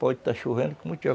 Pode estar chovendo como tiver.